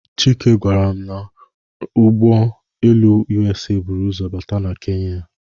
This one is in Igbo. Chike gwara m n'ụgbọ elu USA buru ụzọ bata na Kenya.